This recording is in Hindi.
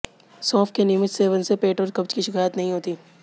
सौंफ के नियमित सेवन से पेट और कब्ज की शिकायत नहीं होती